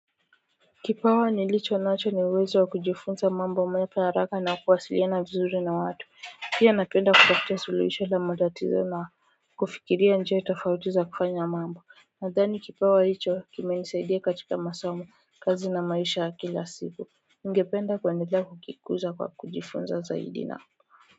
Kipawa nilichonacho ni uwezo wa kujifunza mambo mapya haraka na kuwasiliana vizuri na watu pia napenda kutafutia suluisho la matatizo kufikiria njia tofauti za kufanya mambo. Nadhani kipawa hicho kimenisaidia katika masomo kazi na maisha kila siku Ningependa kuendelea kukikuza kwa kujifunza zaidi na.